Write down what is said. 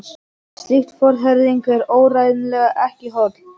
Slík forherðing er áreiðanlega ekki holl.